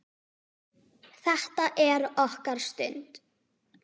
Þetta er okkar stund.